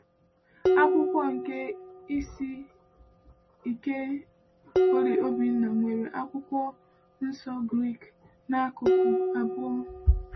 Akwụkwọ nke ise nke Polyg Obinna nwere Akwụkwọ Nsọ Grik n’akụkụ abụọ.